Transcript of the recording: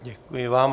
Děkuji vám.